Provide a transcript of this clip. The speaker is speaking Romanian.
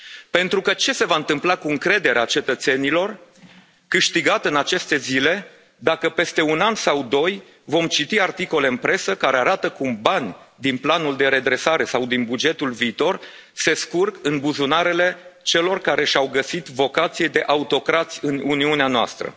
Pentru că ce se va întâmpla cu încrederea cetățenilor câștigată în aceste zile dacă, peste un an sau doi, vom citi articole în presă care arată cum bani din planul de redresare sau din bugetul viitor se scurg în buzunarele celor care și au găsit vocație de autocrați în Uniunea noastră?